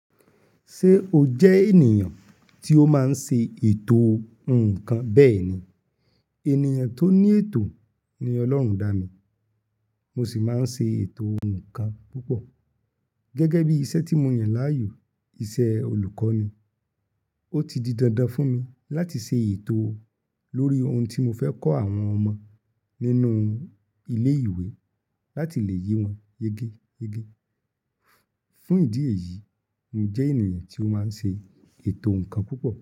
Ṣé o jẹ́ ènìyàn tí ó máa ń ṣe ètò ǹkan? Bẹ́ẹ̀ ni, ènìyàn tó ní ètò ni Ọlọ́run dá mi. Mo sì máa ń ṣe ètò ǹkan púpọ̀. Gẹ́gẹ́ bí iṣẹ́ tí mo yàn láàyò, iṣẹ́ olùkọ́ ni. Ó ti di dandan fún mi láti ṣe ètò lórí ohun tí mo fẹ́ kọ́ àwọn ọmọ nínú ilé ìwé láti lè yí wọn yege yege. Fún ìdí èyí, mo jẹ́ ènìyàn tí ó máa ń ṣe ètò ǹkan púpọ̀